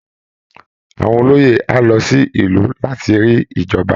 Àwọn olóyè á lọ sí ìlú láti rí ìjọba